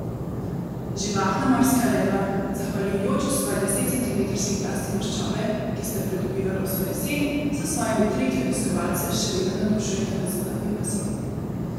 Živahna morska leva, zahvaljujoč svoji desetcentimetrski plasti maščobe, ki sta jo pridobivala vso jesen, s svojimi triki obiskovalce še vedno navdušujeta v zunanjem bazenu.